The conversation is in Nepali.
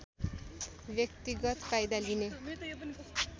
व्यक्तिगत फाइदा लिने